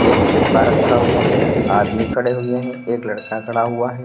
एक डिब्बा रखा हुआ है आदमी खड़े हुए हैं एक लड़का खड़ा हुआ है।